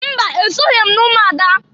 Mba! Esoghi m n'umuada.